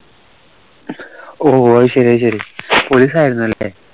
ഓ അശരി അശരി police ആയിർന്നല്ലേ